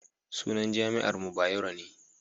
sunan jami'ar mu Bayero ne